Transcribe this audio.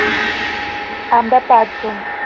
আমরা পাঁচজন